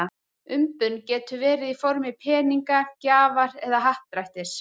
Umbun getur verið í formi peninga, gjafar eða happdrættis.